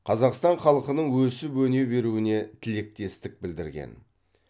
қазақстан халқының өсіп өне беруіне тілектестік білдірген